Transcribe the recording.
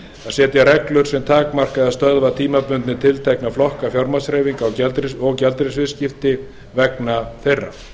setja reglur sem takmarka eða stöðva tímabundið tiltekna flokka fjármagnshreyfinga og gjaldeyrisviðskipti vegna þeirra